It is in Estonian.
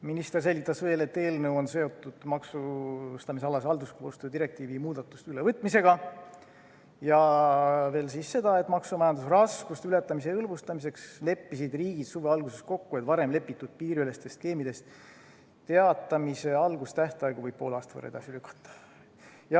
Minister selgitas veel, et eelnõu on seotud maksustamisalase halduskoostöö direktiivi muudatuste ülevõtmisega, ja seda, et majandusraskuste ületamise hõlbustamiseks leppisid riigid suve alguses kokku, et varem kokkulepitud piiriülestest skeemidest teatamise tähtaegu võib poole aasta võrra edasi lükata.